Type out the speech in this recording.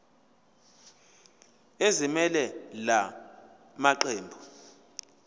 ezimelele la maqembu